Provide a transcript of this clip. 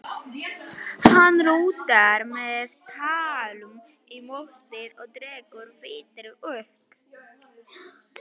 Hann rótar með tánum í moldinni og dregur vírnetið upp.